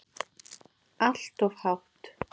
Allt of hátt.